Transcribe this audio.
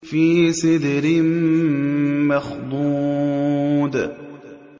فِي سِدْرٍ مَّخْضُودٍ